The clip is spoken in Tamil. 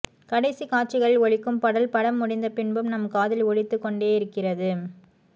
கடைசி காட்சிகளில் ஒலிக்கும் பாடல் படம் முடிந்தபின்பும் நம் காதில் ஒலித்துக் கொண்டேயிருக்கிறது